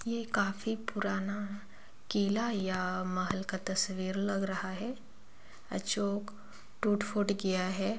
ये काफी पुराना किला या महल का तस्वीर लग रहा है अ- जो टूट फुट गया है।